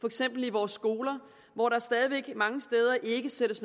eksempel i vores skoler hvor der stadig væk mange steder ikke sættes